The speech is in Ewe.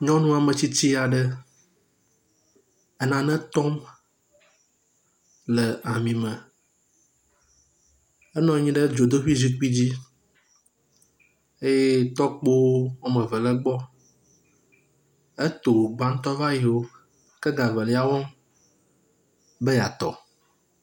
Nyɔnu ametsitsi aɖe enane tɔm le ami me. Enɔ anyi ɖe dzodoƒui zikpui dzi. Eye tɔkpo woame eve le egbɔ. Etɔ gbãtɔ̃ va yi xoxo ke ega evelia wɔm be yeatɔ.